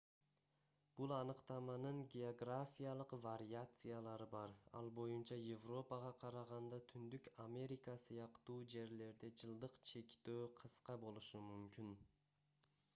бул аныктаманын географиялык вариациялары бар ал боюнча европага караганда түндүк америка сыяктуу жерлерде жылдык чектөө кыска болушу мүмкүн